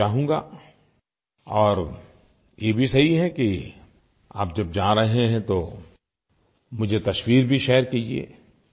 मैं चाहूँगा और ये भी सही है कि आप जब जा रहे हैं तो मुझे तस्वीर भी शेयर कीजिये